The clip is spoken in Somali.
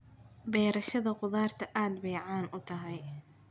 Beerashada khudaarta aad bay caan u tahay.